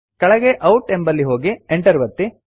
ಕೆಳಗೆ ಔಟ್ ಎಂಬಲ್ಲಿ ಹೋಗಿ Enter ಒತ್ತಿ